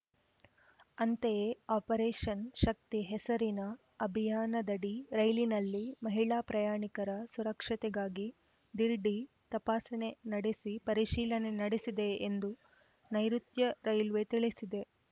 ಅಂತೆಯೇ ಆಪರೇಷನ್‌ ಶಕ್ತಿ ಹೆಸರಿನ ಅಭಿಯಾನದಡಿ ರೈಲಿನಲ್ಲಿ ಮಹಿಳಾ ಪ್ರಯಾಣಿಕರ ಸುರಕ್ಷತೆಗಾಗಿ ಢೀರ್‌ಡಿ ತಪಾಸಣೆ ನಡೆಸಿ ಪರಿಶೀಲನೆ ನಡೆಸಿದೆ ಎಂದು ನೈಋುತ್ಯ ರೈಲ್ವೆ ತಿಳಿಸಿದೆ